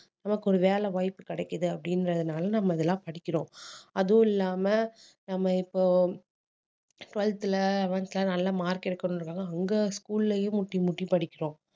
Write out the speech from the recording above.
நமக்கு ஒரு வேலை வாய்ப்பு கிடைக்குது அப்படின்றதுனால நம்ம இதெல்லாம் படிக்கிறோம் அதுவும் இல்லாம நம்ம இப்போ twelfth ல eleventh ல நல்லா mark எடுக்கணுன்றதுக்காக அங்க school லயும் முட்டி முட்டி படிக்கிறோம்